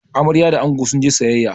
Amarya da ango sun je sayayya